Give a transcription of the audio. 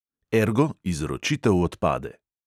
Ergo, izročitev odpade.